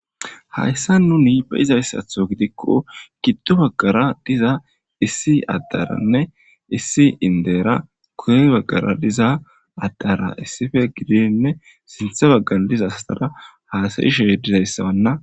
hayssa nuni be'izayssatho gidikko giddu baggara diza issi addaranne issi indera kune baggara diza addara issife gidiinne sinthe baggan diza astara haasayishehdizayssabanna